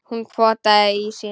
Hún potaði í ísinn.